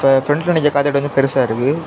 அ பிரேண்ட்ல நிக்க காத்தாடி வந்து பெருசா இருக்கு.